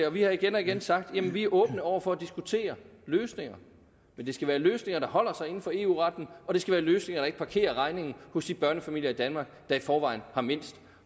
vi har igen og igen sagt at vi er åbne over for at diskutere løsninger men det skal være løsninger der holder sig inden for eu retten og det skal være løsninger der ikke parkerer regningen hos de børnefamilier i danmark der i forvejen har mindst